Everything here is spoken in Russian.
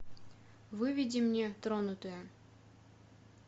выведи мне тронутые